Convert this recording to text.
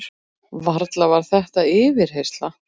Varla var þetta yfirheyrsla?